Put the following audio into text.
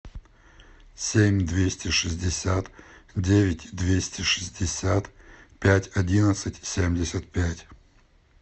семь двести шестьдесят девять двести шестьдесят пять одиннадцать семьдесят пять